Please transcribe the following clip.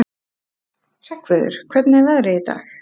Hreggviður, hvernig er veðrið í dag?